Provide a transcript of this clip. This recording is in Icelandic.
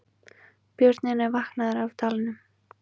Björninn er vaknaður af dvalanum